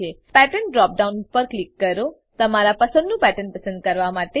pattern drop down પર click કરો તમારા પસંદનું પેટર્ન પસંદ કરવા માટે